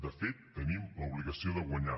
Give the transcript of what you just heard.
de fet tenim l’obligació de guanyar